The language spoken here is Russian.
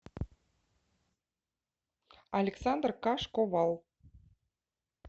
александр кашковал